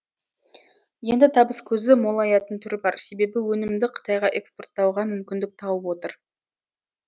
енді табыс көзі молаятын түрі бар себебі өнімді қытайға экспорттауға мүмкіндік тауып отыр